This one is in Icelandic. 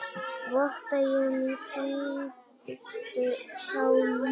Votta ég mína dýpstu samúð.